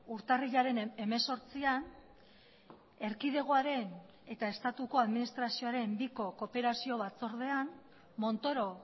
urtarrilaren hemezortzian erkidegoaren eta estatuko administrazioaren biko kooperazio batzordean montoro